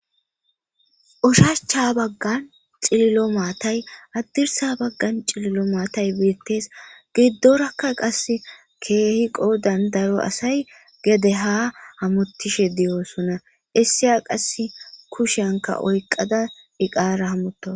ushachcha baggan cililo maatay addirsa baggan cililo maatay biittes giddorakka qass keehiqo dandaro asay gede ha hamotishe diyoosonna issiya qass kushanka oyqada iqaara hamuta